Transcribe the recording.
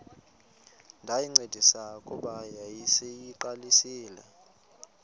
ndayincedisa kuba yayiseyiqalisile